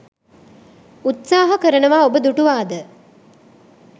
උත්සාහ කරනවා ඔබ දුටුවාද?